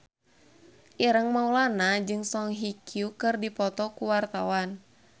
Ireng Maulana jeung Song Hye Kyo keur dipoto ku wartawan